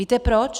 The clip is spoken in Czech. Víte proč?